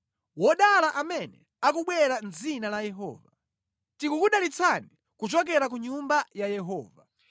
Wodala amene akubwera mʼdzina la Yehova. Tikukudalitsani kuchokera ku nyumba ya Yehova.